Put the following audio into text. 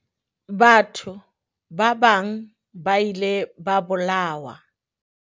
Batho ba bang ba ile ba bolawa.